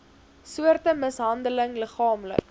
soorte mishandeling liggaamlik